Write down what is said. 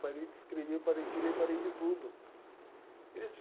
Parei de escrever, parei de ler, parei de tudo.